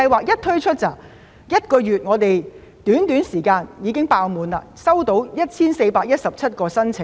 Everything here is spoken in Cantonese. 在推出這項計劃後，在短短一個月內已經額滿，共收到 1,417 宗申請。